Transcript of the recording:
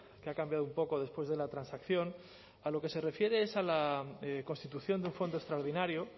que ha cambiado un poco después de la transacción a lo que se refiere es a la constitución de un fondo extraordinario